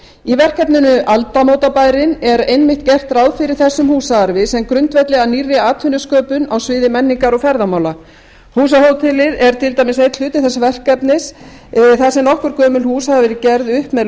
í verkefninu aldamótabærinn er einmitt gert ráð fyrir þessum húsaarfi sem grundvelli að nýrri atvinnusköpun á sviði menningar og ferðamála húsahótelið er til dæmis einn hluti þess verkefnis þar sem nokkur gömul hús hafa verið gerð upp með